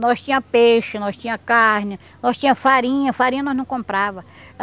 Nós tinha peixe, nós tinha carne, nós tinha farinha, farinha nós não comprava.